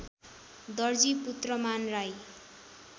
Darji Putraman Rai